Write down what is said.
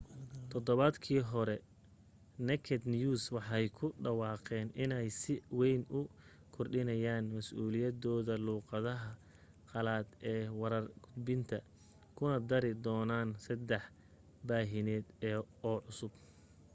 todobaadkii hore naked news waxay ku dhawaaqeen inay si wayn u kordhinayaa masuuliyadood luuqadaha qalaad ee warar gudbinta kuna dari doonaan saddex baahineed oo cusub